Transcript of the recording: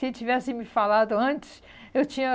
Se tivesse me falado antes, eu tinha...